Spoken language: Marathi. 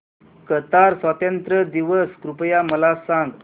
कतार स्वातंत्र्य दिवस कृपया मला सांगा